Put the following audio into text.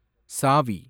சாவி